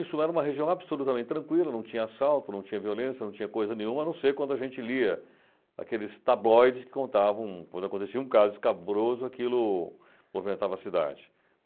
Isso era uma região absolutamente tranquila, não tinha assalto, não tinha violência, não tinha coisa nenhuma, a não ser quando a gente lia aqueles tabloides que contavam quando acontecia um caso escabroso, aquilo movimentava a cidade.